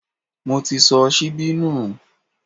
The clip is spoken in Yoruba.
Mo ti sọ síbí nù